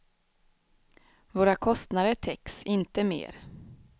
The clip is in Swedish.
Våra kostnader täcks, inte mer.